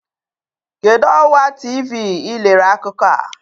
Kedu ọwa TV ị lere akụkọ a?